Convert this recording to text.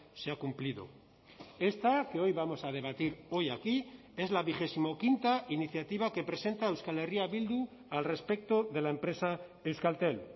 se ha cumplido esta que hoy vamos a debatir hoy aquí es la vigesimoquinta iniciativa que presenta euskal herria bildu al respecto de la empresa euskaltel